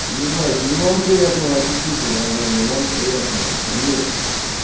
ебать и вам приятного аппетита братан и вам приятного конечно